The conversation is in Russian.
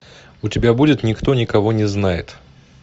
у тебя будет никто никого не знает